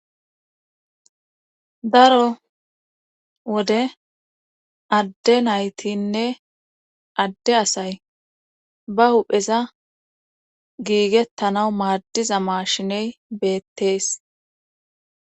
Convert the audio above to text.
Daro wode adde naytinne adde asay ba hupheza giigettana maaddiza maashiney beettees